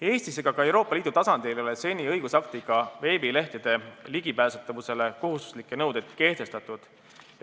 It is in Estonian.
Eestis ega ka Euroopa Liidu tasandil ei ole seni veebilehtede ligipääsetavusele kohustuslikke nõudeid õigusaktiga kehtestatud.